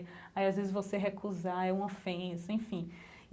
Aí as vezes você recusar, é um ofensa, enfim.